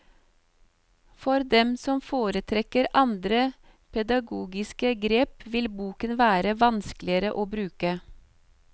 For dem som foretrekker andre pedagogiske grep, vil boken være vanskeligere å bruke.